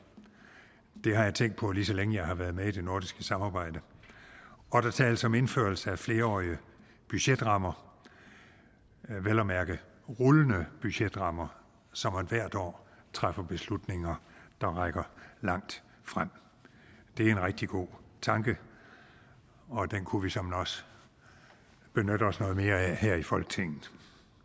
det har jeg tænkt på lige så længe jeg har været med i det nordiske samarbejde og der tales om indførelse af flerårige budgetrammer vel at mærke rullende budgetrammer så man hvert år træffer beslutninger der rækker lagt frem det er en rigtig god tanke og den kunne vi såmænd også benytte os noget mere af her i folketinget